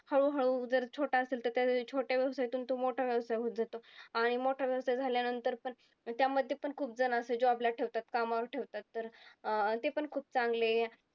हळूहळू जर छोटा असेल तर त्या छोट्या व्यवसायातून तो मोठा व्यवसाय होत जातो. आणि मोठा व्यवसाय झाल्यानंतर पण त्यामध्ये पण खुपजण असायचे, job ला ठेवतात, कामावर ठेवतात. तर अं ते पण खूप चांगले